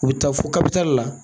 U bɛ taa fo la.